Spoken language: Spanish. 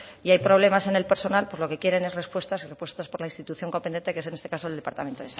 y hay problemas en el personal pues lo que quieren es respuestas respuestas por la institución competente que es en este caso el departamento